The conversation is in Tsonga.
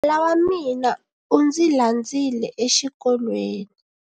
Nala wa mina u ndzi landzile exikolweni.